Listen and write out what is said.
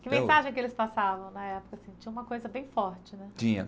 Que mensagem que eles passavam na época? assim tinha uma coisa bem forte né tinha